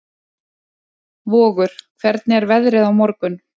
Vogur, hvernig er veðrið á morgun?